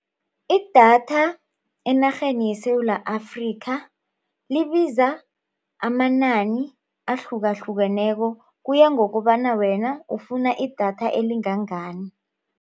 Idatha enarheni yeSewula Afrika libiza amanani ahlukahlukeneko kuya ngokobana wena ufuna idatha elingangani.